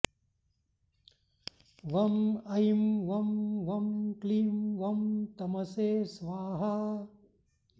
वं ऐं वं वं क्लीं वं तमसे स्वाहा